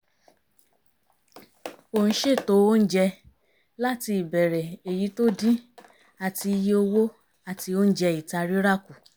ó ń ṣètò oúnjẹ láti ìbẹ̀rẹ̀ èyí tó dín àti iye owó àti oúnjẹ ìta rírà kù